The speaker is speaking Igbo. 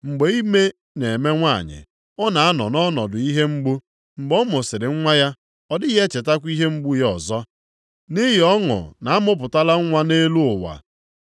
Mgbe ime na-eme nwanyị, ọ na-anọ nʼọnọdụ ihe mgbu. Mgbe ọ mụsịrị nwa ya, ọ dịghị echetakwa ihe mgbu ya ọzọ. Nʼihi ọṅụ na a mụpụtala nwa nʼelu ụwa.